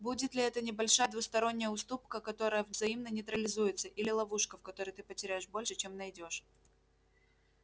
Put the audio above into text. будет ли это небольшая двусторонняя уступка которая взаимно нейтрализуется или ловушка в которой ты потеряешь больше чем найдёшь